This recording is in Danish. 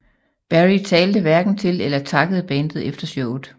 Berry talte hverken til eller takkede bandet efter showet